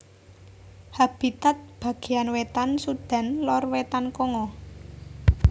Habitat bagéyan wétan Sudan lor wétan Kongo